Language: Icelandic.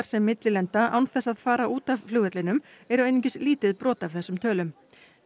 sem millilenda án þess að fara út af flugvellinum eru einungis lítið brot af þessum tölum